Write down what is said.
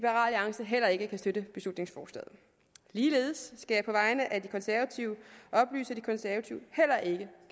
heller ikke kan støtte beslutningsforslaget ligeledes skal jeg på vegne af de konservative oplyse